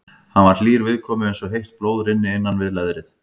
Hann var hlýr viðkomu eins og heitt blóð rynni innan við leðrið.